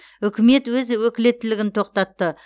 үкімет өз өкілеттілігін тоқтатты